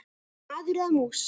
Maður eða mús.